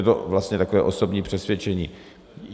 Je to vlastně takové osobní přesvědčení.